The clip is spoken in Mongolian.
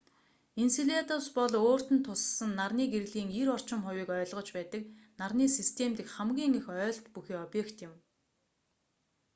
энселадус бол өөрт нь туссан нарны гэрлийн 90 орчим хувийг ойлгож байдаг нарны систем дэх хамгийн их ойлт бүхий объект юм